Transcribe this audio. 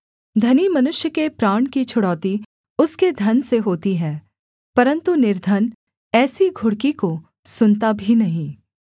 धनी मनुष्य के प्राण की छुड़ौती उसके धन से होती है परन्तु निर्धन ऐसी घुड़की को सुनता भी नहीं